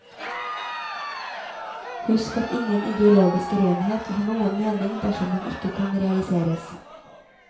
Husk at ingen ideologisk renhet har noen mening dersom den ikke kan realiseres.